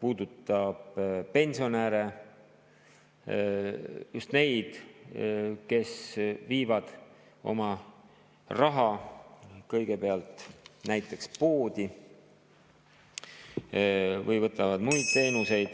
puudutab pensionäre – just neid, kes viivad oma raha kõigepealt näiteks poodi või võtavad muid teenuseid.